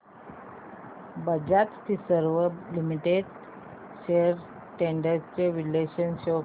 Bajaj Finserv limited shares trends चे विश्लेषण show कर